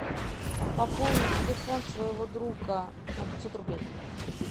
пополни телефон своего друга на пятьсот рублей